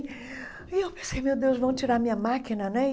E eu pensei, meu Deus, vão tirar a minha máquina, né?